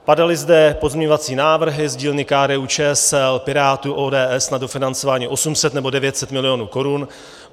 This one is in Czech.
Padaly zde pozměňovací návrhy z dílny KDU-ČSL, Pirátů, ODS na dofinancování 800 nebo 900 milionů korun.